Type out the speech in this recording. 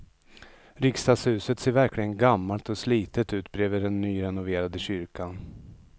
Riksdagshuset ser verkligen gammalt och slitet ut bredvid den nyrenoverade kyrkan.